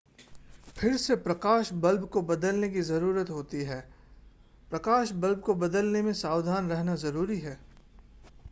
फिर से प्रकाश बल्ब को बदलने की ज़रूरत होती है प्रकाश बल्ब को बदलने में सावधान रहना ज़रूरी है